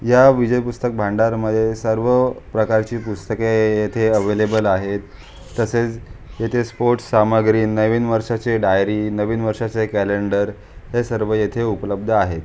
या विजय पुस्तक भंडार मध्ये सर्व प्रकारचे पुस्तके येते एवलेबल आहेत तसेच येथे स्पोर्ट्स सामग्री नवीन वर्षाचे डाइरी नवीन वर्षाचे क्यालेंडर या सर्व येथे उपलब्ध आह.